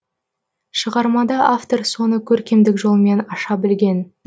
шығармада автор соны көркемдік жолмен аша білген